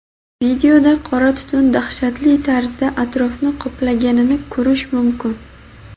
Videoda qora tutun dahshatli tarzda atrofni qoplaganini ko‘rish mumkin.